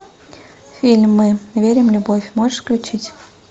фильмы верим в любовь можешь включить